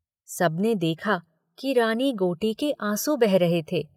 सबने देखा कि रानी गोटी के आँसू बह रहे थे।